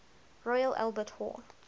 royal albert hall